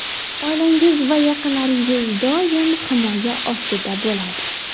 Oilangiz va yaqinlaringiz doim himoya ostida bo‘ladi.